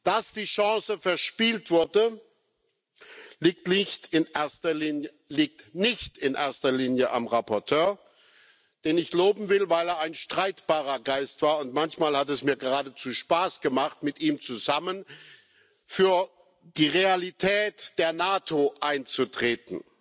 Dass die Chance verspielt wurde, liegt nicht in erster Linie am Berichterstatter, den ich loben will, weil er ein streitbarer Geist war, und manchmal hat es mir geradezu Spaß gemacht, mit ihm zusammen für die Realität der NATO einzutreten.